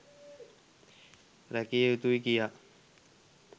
රැකිය යුතුයි කියා